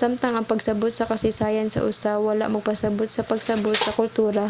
samtang ang pagsabot sa kasaysayan sa usa wala magpasabut sa pagsabot sa kultura